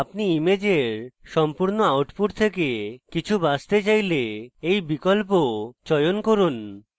আপনি ইমেজের সম্পূর্ণ output থেকে কিছু বাছতে চাইলে এই বিকল্প চয়ন করুন